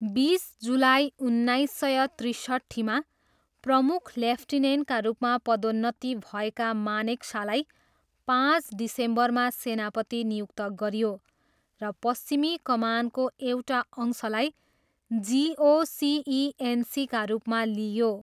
बिस जुलाई उन्नाइस सय त्रिसट्ठीमा प्रमुख लेफ्टिनेन्टका रूपमा पदोन्नति भएका मानेक्सालाई पाँच डिसेम्बरमा सेनापति नियुक्त गरियो र पश्चिमी कमानको एउटा अंशलाई जिओसिइएनसीका रूपमा लिइयो।